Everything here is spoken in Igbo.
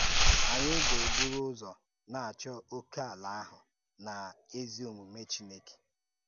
Anyị ‘gà-ebùrù ụzọ na-achọ́ ókèàlá ahụ́ na na ézí-òmume Chineke